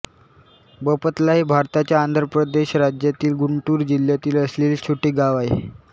बपतला हे भारताच्या आंध्र प्रदेश राज्यातील गुंटुर जिल्ह्यात असलेले छोटे गाव आहे